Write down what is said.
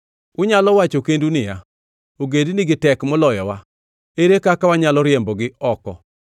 Unyalo wacho kendu niya, “Ogendinigi tek moloyowa. Ere kaka wanyalo riembogi oko?”